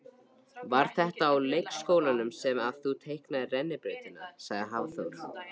Hafþór: Var þetta á leikskólanum sem að þú teiknaðir rennibrautina?